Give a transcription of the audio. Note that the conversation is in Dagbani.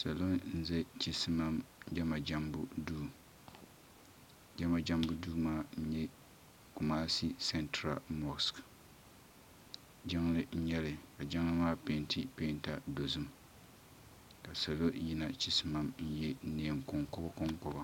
Salo n-za chisimam jɛma jɛmmbu duu jɛma jɛmmbu duu maa nyɛ kumashi santra mɔɣs jiŋli n nyɛli ka jiŋli maa pɛnti pɛinta dozim ka salo yina chisimam n ye nɛɛn konkoba konkoba.